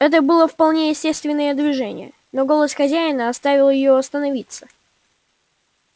это было вполне естественное движение но голос хозяина оставил её остановиться